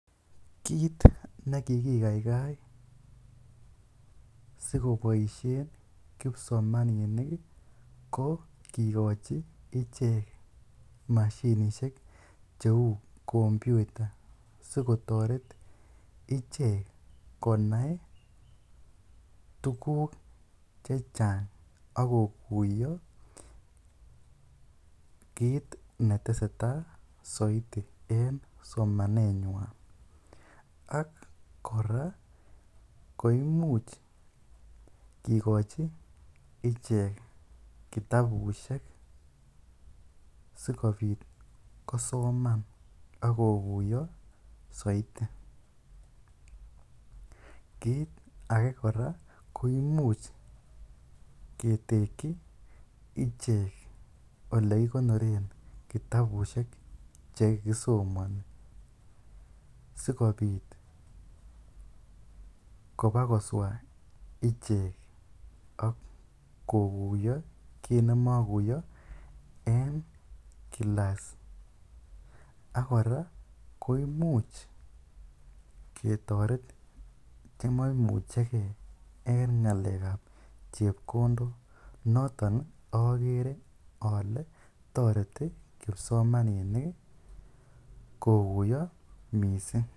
Kiit nekikikaikai sikoboishen kipsomaninik ko kikochi ichek mashinishek cheu kompyuta sikotoret ichek konai tukuk chechang ak kokuiyo kiit neteseta soiti en somanenywan ak kora koimuch kikochi ichek kitabushek sikobit kosoman ak kokuiyo soiti, kiit akee kora ko imuch ketekyi ichek olekikonoren kitabushek chekisomoni sikobit kobakoswa ichek ak kokuiyo kiit nemokuiyo en kilas, ak kora ko imuch ketoret chmomucheke en ngalekab chepkondok noton okere olee toreti kipsomaninik kokuiyo mising.